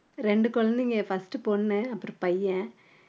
ரெண்டு குழந்தைங்க first பொண்ணு அப்புறம் பையன்